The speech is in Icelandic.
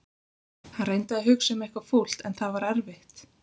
Hann reyndi að hugsa um eitthvað fúlt en það var erfitt.